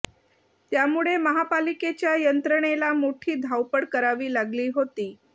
त्यामुळे महापालिकेच्या यंत्रणेला मोठी धावपळ करावी लागली होती